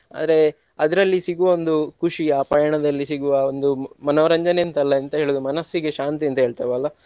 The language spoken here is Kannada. ಆದ್ರೆ ಅದರಲ್ಲಿ ಸಿಗುವ ಒಂದು ಖುಷಿ ಆ ಪ್ರಯಾಣದಲ್ಲಿ ಸಿಗುವ ಒಂದು ಮನೋರಂಜನೆಯಂತಲ್ಲ ಎಂತ ಹೇಳುವುದು ಮನಸ್ಸಿಗೆ ಶಾಂತಿ ಅಂತ ಹೇಳ್ತೆವಲ್ಲ.